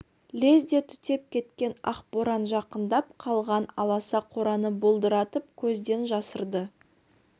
лезде түтеп кеткен ақ боран жақындап қалған аласа қораны бұлдыратып көзден жасырды